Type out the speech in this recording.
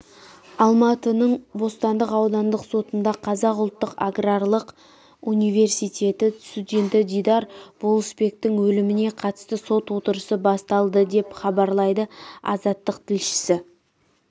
алматының бостандық аудандық сотында қазақ ұлттық аграрлық университеті студенті дидар болысбектің өліміне қатысты сот отырысы басталды деп хабарлайды азаттық тілшісі